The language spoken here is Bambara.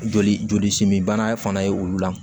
Joli jolisimin bana fana ye olu la